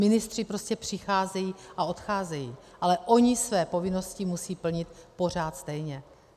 Ministři prostě přicházejí a odcházejí, ale oni své povinnosti musí plnit pořád stejně.